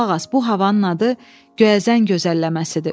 Qulaq as, bu havanın adı Göyəzən gözəlləməsidir.